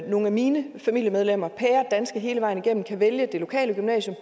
nogle af mine familiemedlemmer pæredanske hele vejen igennem kan vælge det lokale gymnasium